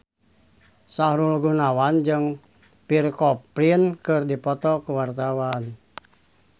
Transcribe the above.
Sahrul Gunawan jeung Pierre Coffin keur dipoto ku wartawan